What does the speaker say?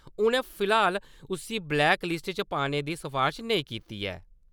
उन्नै फिलहाल उस्सी ब्लेक लिस्ट च पाने दी सफारश नेईं कीती ऐ ।